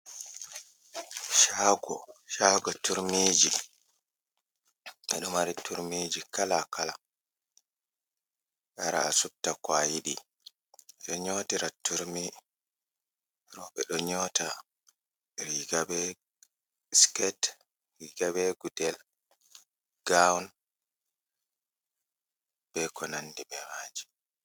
Shago turmiji, ɓeɗo mari turmiji kala kala, awara subta ko a yiɗi, ɓeɗo nyotira turmi, rooɓe ɗo nyota Riga be sket, Riga be gudel, gown, be ko nandi be maji.